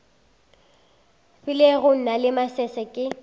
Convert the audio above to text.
filego na le masese ke